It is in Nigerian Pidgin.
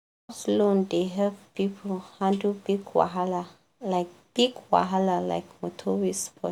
loan dey help people handle big wahala like big wahala like motor wey spoil.